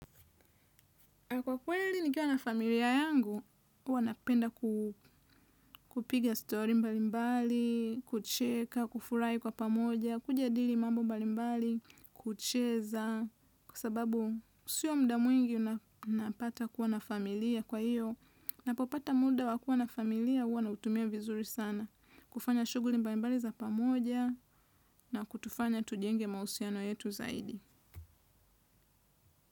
Kwa kweli nikiwa na familia yangu, huwa napenda kupiga story mbalimbali, kucheka, kufurahi kwa pamoja, kujadili mambo mbalimbali, kucheza, kwa sababu sio muda mwingi unapata kuwa na familia kwa hiyo. Napopata muda wakuwa na familia huwa nautumia vizuri sana, kufanya shughuli mbalimbali za pamoja na kutufanya tujenge mahusiano yetu zaidi.